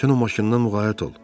Sən o maşından müğayət ol.